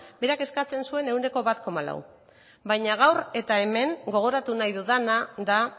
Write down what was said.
berak eskatzen zuen ehuneko bat koma lau baina gaur eta hemen gogoratu nahi dudana da